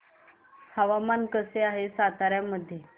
हवामान कसे आहे सातारा मध्ये